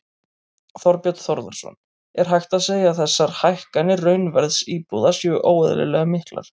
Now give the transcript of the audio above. Þorbjörn Þórðarson: Er hægt að segja að þessar hækkanir raunverðs íbúða séu óeðlilega miklar?